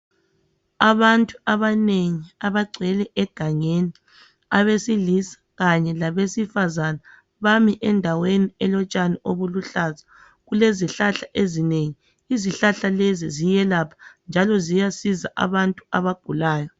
Abantu abanengi abagcwele egangeni. Abesilisa kanye labesifazana bami endaweni elotshani obuluhlaza. Kulezihlahla ezinengi. Izihlahla lezi ziyelapha, njalo ziyasiza abantu abagulayo.